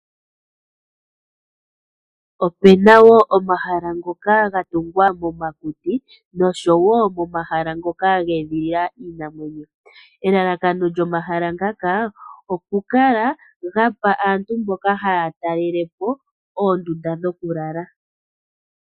Opuna omahala ngoka gatungwa momakuti noshowo momahala ngoka ge edhi lila iinamwenyo. Elalakano lyomahala ngaka oku kala gapa aantu mboka haya talalepo oondunda dhoku lala.